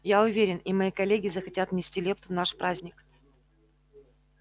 я уверен и мои коллеги захотят внести лепту в наш праздник